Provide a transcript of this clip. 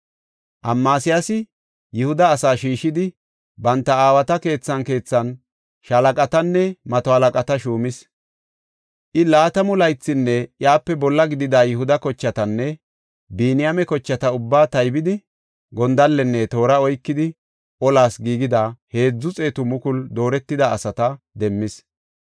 Amasiyaasi Yihuda asaa shiishidi banta aawata keethan keethan shaalaqatanne mato halaqata shuumis. I laatamu laythinne iyape bolla gidida Yihuda kochatanne Biniyaame kochata ubbaa taybidi gondallenne toora oykidi olas giigida heedzu xeetu mukulu dooretida asata demmis.